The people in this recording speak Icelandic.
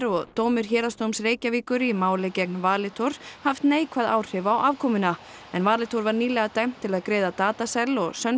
og dómur Héraðsdóms Reykjavíkur í máli gegn Valitor haft neikvæð áhrif á afkomuna en Valitor var nýlega dæmt til að greiða Datacell og